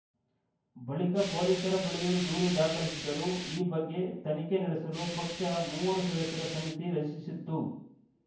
ಬಳಿಕ ಪೊಲೀಸರ ಬಳಿಯೂ ದೂರು ದಾಖಲಿಸಿದ್ದರು ಈ ಬಗ್ಗೆ ತನಿಖೆ ನಡೆಸಲು ಪಕ್ಷ ಮೂವರು ಸದಸ್ಯರ ಸಮಿತಿ ರಚಿಸಿತ್ತು